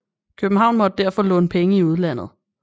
København måtte derfor låne penge i udlandet